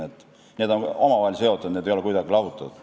Nii et need on omavahel seotud, need ei ole kuidagi lahutatud.